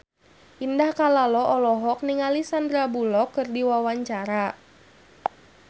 Indah Kalalo olohok ningali Sandar Bullock keur diwawancara